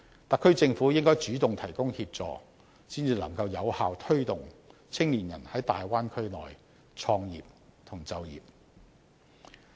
特區政府應該主動提供協助，才能夠有效推動青年人在大灣區創業及就業。